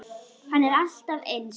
Hann er alltaf eins.